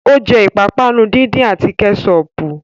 Ó jẹ́ ìpápánu díndín àti Kẹ́ṣọpù